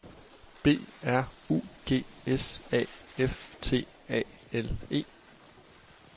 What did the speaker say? B R U G S A F T A L E